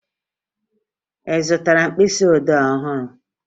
Ị zụtara mkpịsịodee ọhụrụ?